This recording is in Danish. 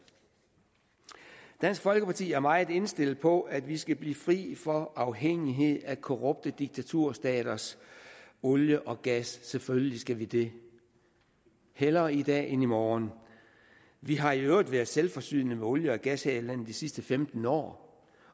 dansk folkeparti er meget indstillet på at vi skal blive fri for afhængighed af korrupte diktaturstaters olie og gas selvfølgelig skal vi det hellere i dag end i morgen vi har i øvrigt været selvforsynende med olie og gas her i landet i de sidste femten år